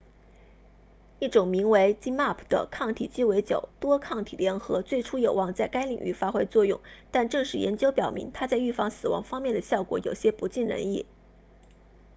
一种名为 zmapp 的抗体鸡尾酒”多抗体联合最初有望在该领域发挥作用但正式研究表明它在预防死亡方面的效果有些不尽人意